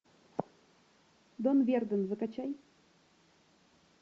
дон верден закачай